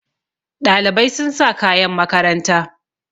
Ɗalibai sun sa kayan makaranta